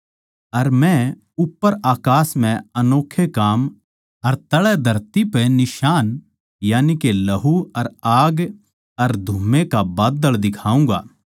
अर मै उप्पर अकास म्ह अनोक्खे काम अर तळै धरती पै निशान यानिके लहू अर आग अर धुम्मै का बाद्दळ दिखाऊँगा